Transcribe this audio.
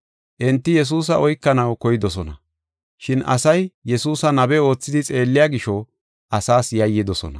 Enti Yesuusa oykanaw koydosona, shin asay Yesuusa nabe oothidi xeelliya gisho, asaas yayyidosona.